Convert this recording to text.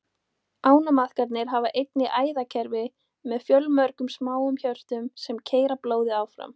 Kolbeini gekk vel að botna allar vísur kölska og kölska gekk vel framan af.